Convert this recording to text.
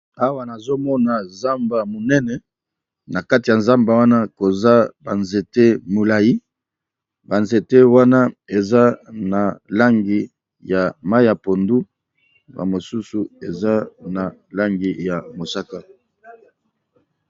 awa nazomona zamba monene na kati ya zamba wana koza banzete molai banzete wana eza na langi ya mai ya pondu a mosusu eza na langi ya mosaka